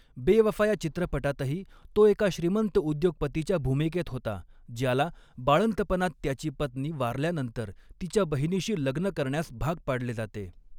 बेवफा या चित्रपटातही तो एका श्रीमंत उद्योगपतीच्या भूमिकेत होता, ज्याला, बाळंतपणात त्याची पत्नी वारल्यानंतर तिच्या बहिणीशी लग्न करण्यास भाग पाडले जाते.